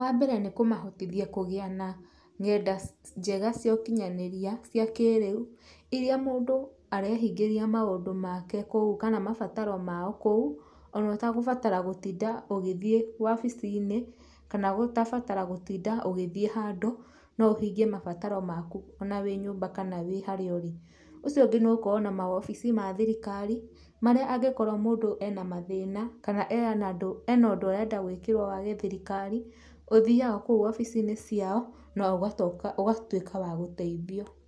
Wambere nĩ kũmahotithia kũgĩa na ng'enda njega cia ũkinyanĩria cia kĩrĩu, iria mũndũ arehingĩria maũndũ make kũu kana mabataro mao kũu onotagũbatara gũtinda ũgĩthiĩ wabici-inĩ kana, gũtabatara gũtinda ũgĩthiĩ handũ, no ũhingie mabataro maku ona wĩ nyũmba kana wĩ harĩa ũrĩ. Ũcio ũngĩ nĩ gũkorwo na mawobici ma thirikari, marĩa angĩkorwo mũndũ ena mathĩna, kana ena andũ, ena ũndũ arenda gwĩkĩrwo wa gĩthirikari, ũthiaga kũu wobici-inĩ ciao no ũgatoka, ũgatuĩka wa gũteithio.